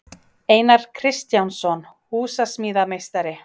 Einar Kristjánsson, húsasmíðameistari.